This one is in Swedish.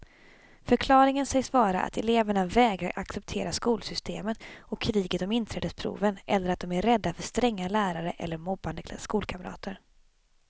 Förklaringen sägs vara att eleverna vägrar acceptera skolsystemet och kriget om inträdesproven eller att de är rädda för stränga lärare eller mobbande skolkamrater.